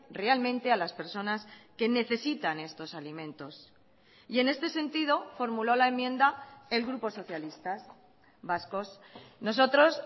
realmente a las personas que necesitan estos alimentos y en este sentido formuló la enmienda el grupo socialistas vascos nosotros